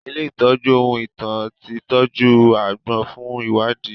Ilé ìtọ́jú ohun ìtàn ti tọ́jú agbọ́n fún ìwádìí